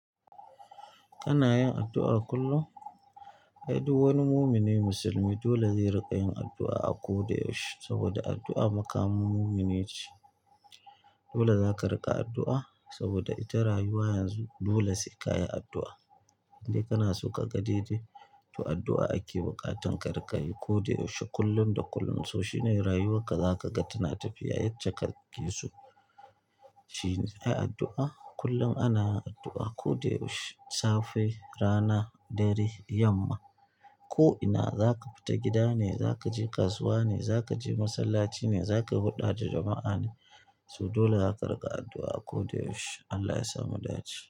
Kana yin addu'a kullum? Ai duk wani mumini musulmi dole zai riƙa yin addu'a a ko da yaushe. Saboda addu'a makamun mumini ce. Dole zaka riƙa addu'a saboda ita rayuwa yanzu dole sai ka yi addu'a. In dai kana so ka ga daidai, to addu'a ake buƙatan ka riƙa yi ko da yaushe, kullum da kullum. So shine rayuwarka, za ka ga tana tafiya yace kake so. Shi ne, ai addu'a kullum ana addu'a, ko da yaushe, safe, rana, dare, yamma, ko ina. Zaka fita gida ne zaka je kasuwa ne zaka je masalaci ne zaka huda da jama'a ne so dole zaka riƙa addu'a a ko da yaushe. Allah ya sa mu dace.